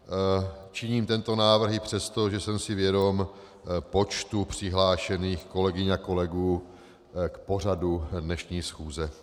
Činím tento návrh i přesto, že jsem si vědom počtu přihlášených kolegyň a kolegů k pořadu dnešní schůze.